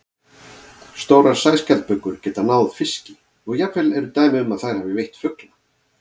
Stórar sæskjaldbökur geta náð fiski og jafnvel eru dæmi um að þær hafi veitt fugla.